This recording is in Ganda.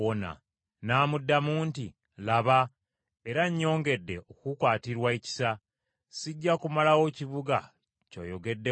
N’amuddamu nti, “Laba, era nnyongedde okukukwatirwa ekisa, sijja kumalawo kibuga ky’oyogeddeko.